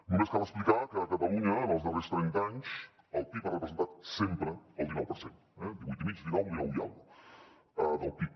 només cal explicar que a catalunya en els darrers trenta anys el pib ha representat sempre el dinou per cent eh divuit i mig dinou dinou i escaig del pib